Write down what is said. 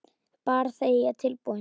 Bara þegar ég er tilbúin